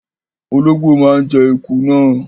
Ológbò máa ń jẹ eku náà.